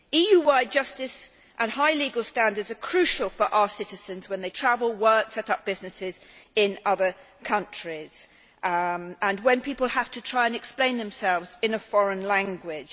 EU wide justice and high legal standards are crucial for our citizens when they travel, work and set up businesses in other countries and when people have to try and explain themselves in a foreign language.